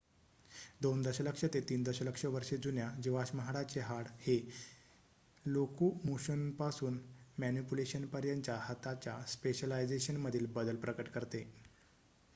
2 दशलक्ष ते 3 दशलक्ष वर्षे जुन्या जीवाश्म हाताचे हाड हे लोकोमोशनपासून मॅनिपुलेशनपर्यंतच्या हाताच्या स्पेशलायझेशनमधील बदल प्रकट करते